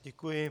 Děkuji.